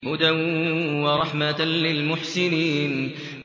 هُدًى وَرَحْمَةً لِّلْمُحْسِنِينَ